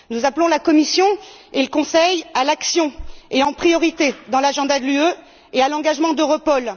Nous appelons la Commission et le Conseil à l'action, en priorité dans l'agenda de l'UE, et à l'engagement d'EUROPOL.